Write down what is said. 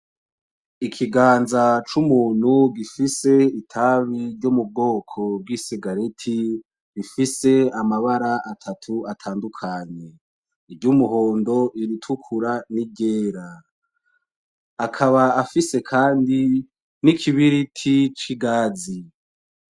Ikiganza cumuntu gifise itabi ryomubwoko bwi cigarette, rifise amabara atatu atandukanye, uryumuhondo iritukura niryera. Akaba afise kandi nikibiriti cigazi.